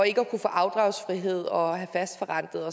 ikke at kunne få afdragsfrihed og have fastforrentede